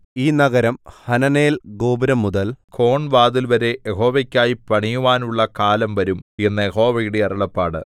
ഈ നഗരം ഹനനേൽ ഗോപുരംമുതൽ കോൺവാതിൽവരെ യഹോവയ്ക്കായി പണിയുവാനുള്ള കാലം വരും എന്ന് യഹോവയുടെ അരുളപ്പാട്